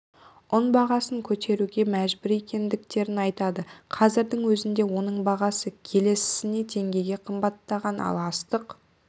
ұн бағасын көтеруге мәжбүр екендіктерін айтады қазірдің өзінде оның бағасы келісіне теңгеге қымбаттаған ал астық